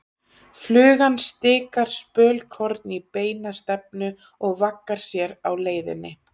Flugan stikar spölkorn í beina stefnu og vaggar sér á leiðinni.